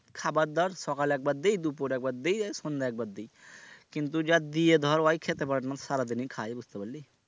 খাবারদাবার সকালে একবার দিই দুপুরে একবার দিই আর সন্ধ্যায় একবার দিই কিন্তু যা দিই ধর ওই খেতে পারেনা সারাদিনই খায় বুঝতে পারলি?